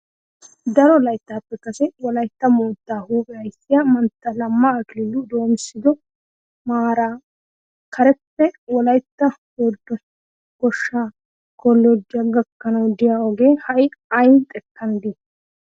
Daro layttatuppe kase wolaytta moottaa huuphe ayssiya mantta Lamma Akiliilu doomissido maara careppe wolaytta sooddo goshshaa kolloojjiya gakkanawu biya ogee ha"i ay xekkan de'ii?